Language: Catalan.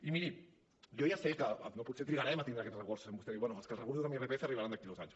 i miri jo ja sé que potser trigarem a tindre aquests recursos com vostè diu bé és que els recursos en irpf arribaran d’aquí a dos anys